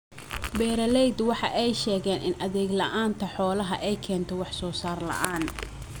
Beeralaydu waxa ay sheegeen in adeeg la�aanta xoolaha ay keento wax soo saar la�aan.